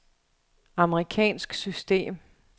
amerikansk system